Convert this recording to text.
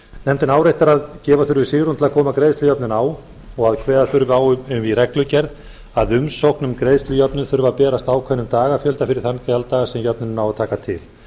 nefndin áréttar að gefa þurfi svigrúm til að koma greiðslujöfnun á og að kveða þurfi á um í reglugerð að umsókn um greiðslujöfnun þurfi að berast ákveðnum dagafjölda fyrir þann gjalddaga sem jöfnunin á að taka til